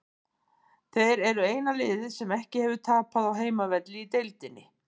Þeir eru eina liðið sem ekki hefur tapað á heimavelli í deildinni.